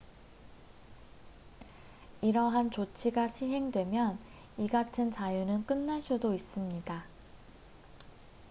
이러한 조치가 시행되면 이 같은 자유는 끝날 수도 있습니다